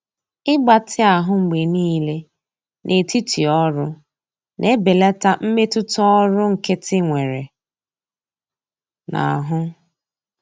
Ịgbatị ahụ mgbe niile n'etiti ọrụ na-ebelata mmetụta ọrụ nkịtị nwere n'ahụ.